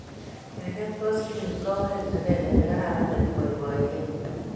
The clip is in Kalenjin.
Keket boskilii ko oree akenge ne kararan ne kiboiboiekei.